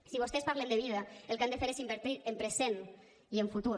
si vostès parlen de vida el que han de fer és invertir en present i en futur